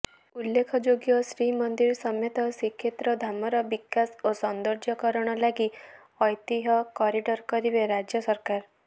ଉଲ୍ଲେଖଯୋଗ୍ୟ ଶ୍ରୀମନ୍ଦିର ସମେତ ଶ୍ରୀକ୍ଷେତ୍ର ଧାମର ବିକାଶ ଓ ସୌନ୍ଦର୍ଯ୍ୟକରଣ ଲାଗି ଐତିହ୍ୟ କରିଡ଼ର୍ କରିବେ ରାଜ୍ୟ ସରକାର